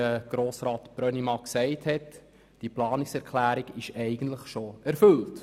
Wie Grossrat Brönnimann gesagt hat, ist diese Planungserklärung eigentlich schon erfüllt.